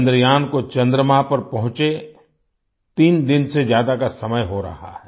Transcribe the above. चंद्रयान को चन्द्रमा पर पहुँचे तीन दिन से ज्यादा का समय हो रहा है